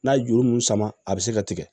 N'a ye juru mun sama a bɛ se ka tigɛ